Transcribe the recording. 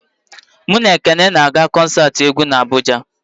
Mụ na Ekene ga-aga kọnsat egwu n'Abụja.